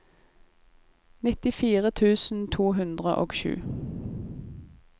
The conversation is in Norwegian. nittifire tusen to hundre og sju